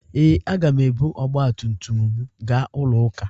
Ee, agam ebu ọgba tum tum m gaa ụlọ ụka